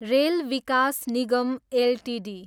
rail Vikas Nigam Ltd